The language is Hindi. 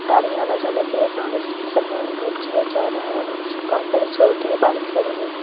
गाड़ी आने जाने के लिए गाड़ी जिस पे सामान लोड किया जा रहा है नीचे बहुत सारी स्कूटी बाइक खड़ी हुई हैं।